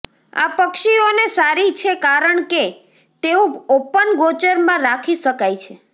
આ પક્ષીઓને સારી છે કારણ કે તેઓ ઓપન ગોચર માં રાખી શકાય છે